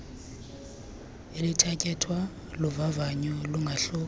elithatyathwa luvavanyo lungahluka